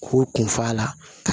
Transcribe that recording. K'u kun f'a la